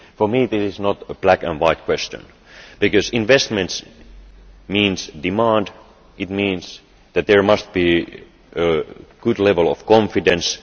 For me this is not a black and white question, because investment means demand and that there must be a good level of confidence.